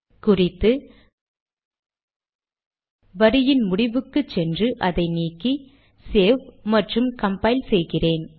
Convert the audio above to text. குறித்து வரியின் முடிவுக்கு சென்று அதை நீக்கி சேவ் மற்றும் கம்பைல் செய்கிறேன்